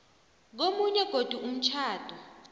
komunye godu umtjhado